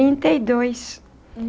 Trinta e dois.